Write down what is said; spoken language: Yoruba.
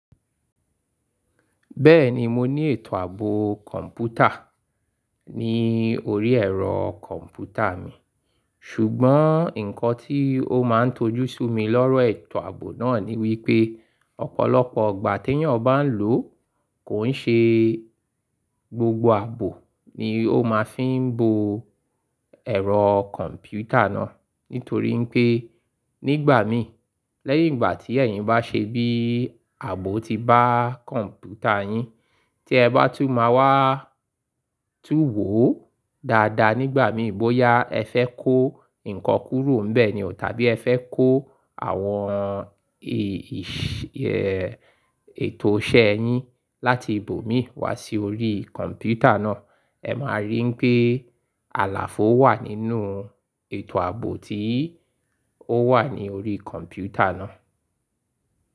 Bẹ́ẹ̀ni mo ní ètò ààbò kọ̀ǹpútà ní orí ẹ̀rọ kọ̀ǹpútà mi, ṣùgbọ́n nǹkan tí ó máa ń tojú sí mi lọ́rọ̀ ètò ààbò náà ni wípé ọ̀pọ̀lọpọ̀ igbà tí èèyàn bá ń lò kò ṣe gbogbo ààbò ni ó máa fi ń bo ẹ̀rọ kọ̀ǹpútà náà. Nítorí pé nígbà mi lẹ́yìn ìgbà tí ẹ̀yin bá ṣe bí ààbò ti bá kọ̀ǹpútà yín tí ẹ bá tú máa wá túwòó dáadáa nígbà mi bóyá ẹ fẹ́ kó nǹkan kúrò ńbẹ ni o tàbí ẹ fẹ́ kó àwọn ètò iṣẹ́ ẹ yín láti ibòmí wá sí orí kọ̀ǹpútà náà, ẹ máa rí pé àlàfo wà nínú ètò ààbò tí ó wà ní orí kọ̀ǹpútà náà.